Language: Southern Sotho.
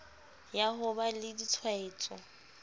ya ho ba le ditshwaetso